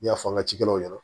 N'i y'a fɔ an ka cikɛw ɲɛna